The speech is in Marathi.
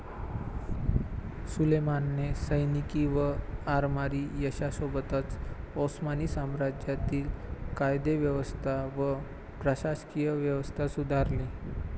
सुलेमानाने सैनिकी व आरमारी यशासोबतच ओस्मानी साम्राज्यातील कायदेव्यवस्था व प्रशासकीय व्यवस्था सुधारली.